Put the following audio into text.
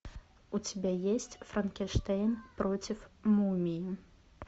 у тебя есть франкенштейн против мумии